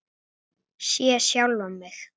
Sé sjálfan mig.